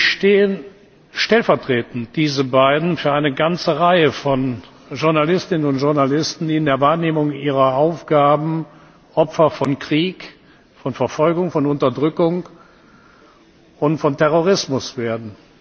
stehen stellvertretend für eine ganze Reihe von Journalistinnen und Journalisten, die in der Wahrnehmung ihrer Aufgaben Opfer von Krieg, von Verfolgung, von Unterdrückung und von Terrorismus werden.